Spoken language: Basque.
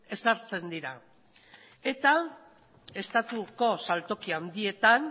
ezartzen dira eta estatuko saltoki handietan